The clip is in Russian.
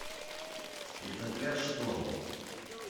спецотряд шторм